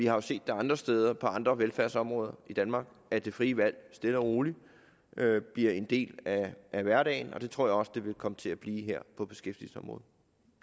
jo set andre steder på andre velfærdsområder i danmark at det frie valg stille og roligt bliver en del af hverdagen og det tror jeg også det vil komme til at blive her på beskæftigelsesområdet